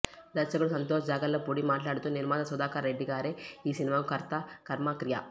దర్శకుడు సంతోష్ జాగర్లపూడి మాట్లాడుతూ నిర్మాత సుధాకర్రెడ్డిగారే ఈ సినిమాకు కర్త కర్మ క్రియ